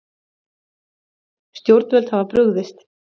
Stjórnvöld hafa brugðist